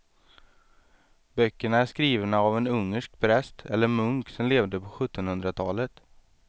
Böckerna är skrivna av en ungersk präst eller munk som levde på sjuttonhundratalet.